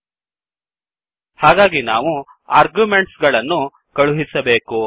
000222 000201 ಹಾಗಾಗಿ ನಾವು ಆರ್ಗ್ಯುಮೆಂಟ್ಸ್ ಗಳನ್ನು ಕಳುಹಿಸಬೇಕು